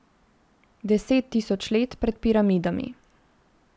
Deset tisoč let pred piramidami.